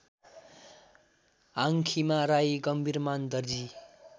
Hangkhima Rai Gambhirman Darji